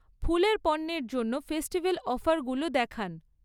ফুলের পণ্যের জন্য ফেস্টিভ্যাল অফারগুলো দেখান।